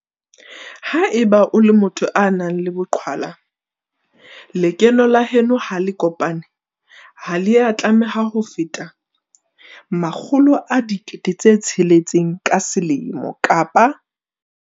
Ha eba o le motho a nang le boqhwala, lekeno la heno ha le kopane ha le a tlameha ho feta R600 000 ka selemo kapa.